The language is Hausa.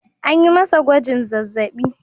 An yi masa gwajin zazzabi.